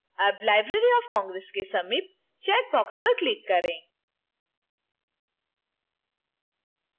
अब library of congress के समीप चैकबॉक्स पर click करें